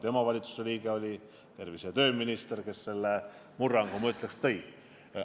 Tema oli valitsuses see tervise- ja tööminister, kes selle murrangu tõi.